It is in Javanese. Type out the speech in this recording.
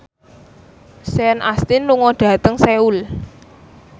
Sean Astin lunga dhateng Seoul